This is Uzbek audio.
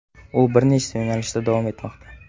U bir nechta yo‘nalishda davom etmoqda.